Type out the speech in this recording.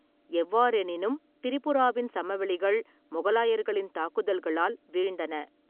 எவ்வாறெனினும், திரிபுராவின் சமவெளிகள் மொகலாயர்களின் தாக்குதல்களால் வீழ்ந்தன.